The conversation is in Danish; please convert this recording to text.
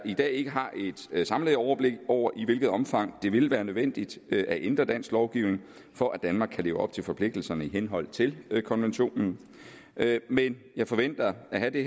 i dag ikke har et samlet overblik over i hvilket omfang det vil være nødvendigt at ændre dansk lovgivning for at danmark kan leve op til forpligtelserne i henhold til konventionen men jeg forventer at have det